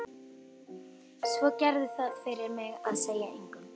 Svo gerðu það fyrir mig að segja engum.